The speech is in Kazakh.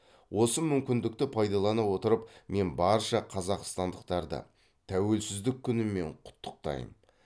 осы мүмкіндікті пайдалана отырып мен барша қазақстандықтарды тәуелсіздік күнімен құттықтайм